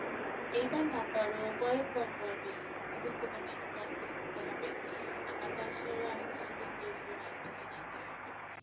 এইবার না পারো পরেরবার পারবে অভিজ্ঞতা নেই কিন্তু আস্তে আস্তে তো হবে আর তাছাড়া অনেক কিছু তো ইন্টারভিউ এর আগে থেকেই জানতে হবে,